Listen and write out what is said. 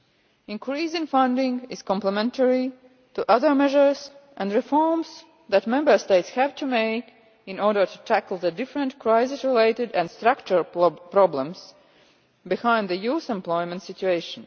The increase in funding is complementary to other measures and reforms that Member States have to make in order to tackle the different crisis related and structural problems behind the youth employment situation.